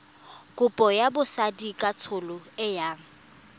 kopo ya botsadikatsholo e yang